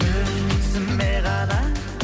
өзіме ғана